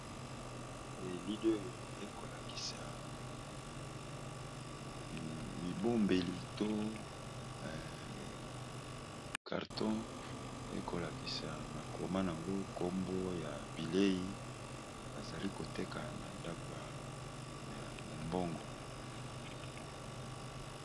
Elile oyo eko lakisa bibombeli to karton eko lakisa makoma yango kombo ya bilei bazali koteka na ndako ya mombongo.